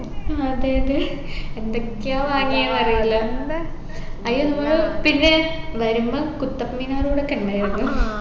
ഹും അതെ അതെ എന്തൊക്കെയോ വാങ്ങിയെന്ന് അറിയില്ല അയിന് നമ്മള് പിന്നെ വരുമ്പം കുത്തബ്മിനാർ കൂടെ കണ്ടായിരുന്നു